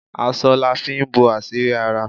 Aṣọ la fi ń bo àṣírí ara